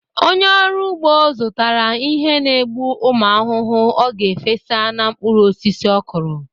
Onye ọrụ ugbo zụtara ihe n'egbu ụmụ ahụhụ ọ ga-efesa na mkpụrụ osisi ọkụrụ.